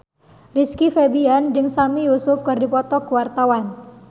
Rizky Febian jeung Sami Yusuf keur dipoto ku wartawan